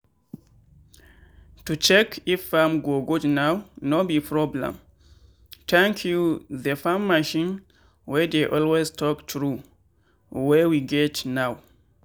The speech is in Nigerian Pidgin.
to check if farm go good now no be problemthank you the farm machine wey dey always talk true wey we get now.